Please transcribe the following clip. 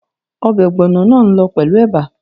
Obè ògbònà máa n lo pèlú eba